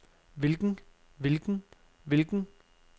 hvilken hvilken hvilken